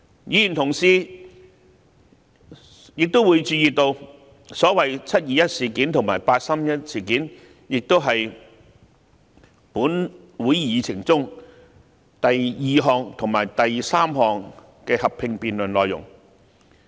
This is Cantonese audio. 議員同事亦會留意到，所謂"七二一"事件及"八三一"事件是立法會會議議程中第二及三項合併辯論的內容。